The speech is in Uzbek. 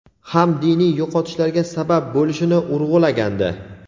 ham diniy yo‘qotishlarga sabab bo‘lishini urg‘ulagandi.